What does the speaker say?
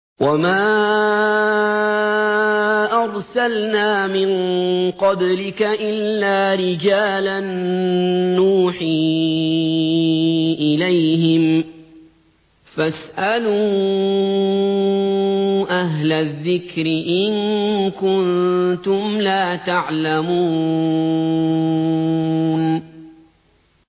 وَمَا أَرْسَلْنَا مِن قَبْلِكَ إِلَّا رِجَالًا نُّوحِي إِلَيْهِمْ ۚ فَاسْأَلُوا أَهْلَ الذِّكْرِ إِن كُنتُمْ لَا تَعْلَمُونَ